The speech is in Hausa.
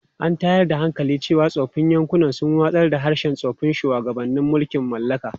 An tayar da hankali cewa tsofaffin yankunan sun watsar da harshen tsoffin shugabannin mulkin mallaka.